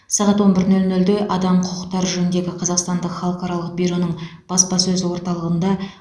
сағат он бір нөл нөлде адам құқықтары жөніндегі қазақстандық халықаралық бюроның баспасөз орталығында